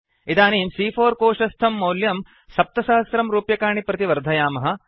इदानीं सी॰॰4 कोशस्थं मौल्यं 7000 रूप्यकाणि प्रति वर्धयामः